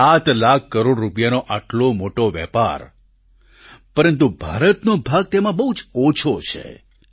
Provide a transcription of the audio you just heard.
7 લાખ કરોડ રૂપિયાનો આટલો મોટો વેપાર પરંતુ ભારતનો ભાગ તેમાં બહુ જ ઓછો છે